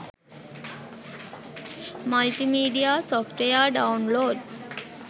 multimedia software download